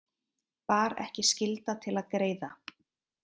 Bar ekki skylda til að greiða